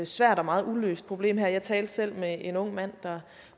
svært og meget uløst problem jeg talte selv med en ung mand der